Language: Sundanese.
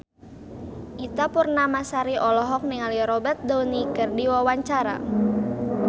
Ita Purnamasari olohok ningali Robert Downey keur diwawancara